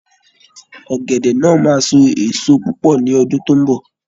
Ọ̀gẹ̀dẹ̀ náà máa so èso púpọ̀ ni ọdún tó ń bọ̀